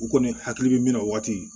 U kɔni hakili bɛ min na o waati